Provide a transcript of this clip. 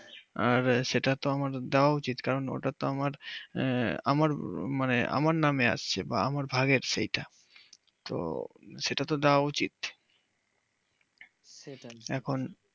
আর সেটা তো আমার যাওয়া উচিত কারণ ওটা তো আমার আমার মানে আমার নামে আছে। বা আমার ভাগ আছে এতে তো সেটা তো দেওয়া উচিত।